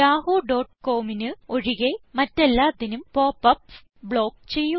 wwwyahoocomന് ഒഴികെ മറ്റെല്ലാത്തിനും popups block ചെയ്യുക